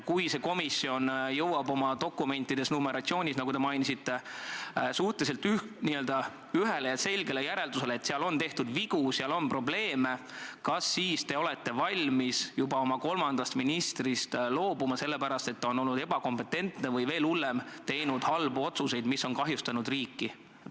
Kui see komisjon jõuab oma dokumentides, numeratsioonis, nagu te mainisite, suhteliselt ühele ja selgele järeldusele, et seal on tehtud vigu ja seal on probleeme, siis kas te olete valmis juba oma kolmandast ministrist loobuma sellepärast, et ta on olnud ebakompetentne või – veel hullem – teinud halbu otsuseid, mis on kahjustanud riiki?